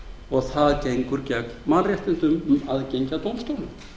og það gengur gegn mannréttindum um aðgengi að dómstólum